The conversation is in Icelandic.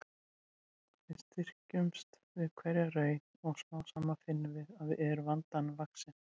Við styrkjumst við hverja raun og smám saman finnum við að við erum vandanum vaxin.